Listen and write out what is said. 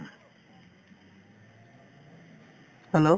hello